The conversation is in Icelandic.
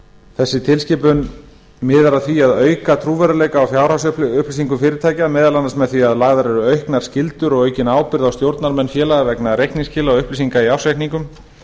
þessi tilskipun miðar að því að auka trúverðugleika á fjárhagsupplýsingum fyrirtækja meðal annars með því að lagðar eru auknar skyldur og aukin ábyrgð á stjórnarmenn félaga vegna reikningsskila og upplýsinga í ársreikningum